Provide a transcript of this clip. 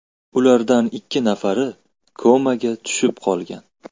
Ulardan ikki nafari komaga tushib qolgan.